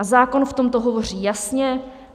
A zákon v tomto hovoří jasně.